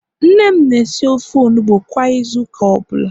nne m na-esi ofe onugbo kwa Ịzụ ụka ọbụla